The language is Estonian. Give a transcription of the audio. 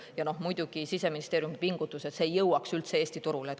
Ja muidugi Siseministeerium pingutab, et see ei jõuaks üldse Eesti turule.